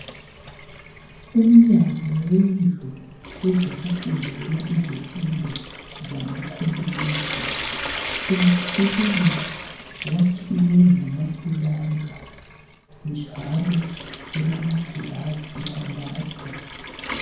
Umnyango wendlu, wezokufundela, izifundo zamacomputer. Umkhulu! Wakhiwe ngamapulanka, njalo ulamagilazi amade.